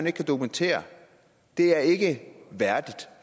ikke kan dokumentere det er ikke værdigt